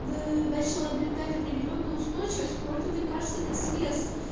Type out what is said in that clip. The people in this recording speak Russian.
начал обретать определённую устойчивость против лекарственных средств